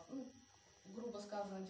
ну грубо сказать